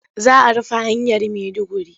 Za a rufe hanyar Maiduguri.